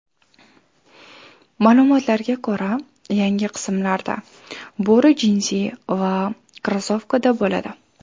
Ma’lumotlarga ko‘ra, yangi qismlarda bo‘ri jinsi va krossovkada bo‘ladi .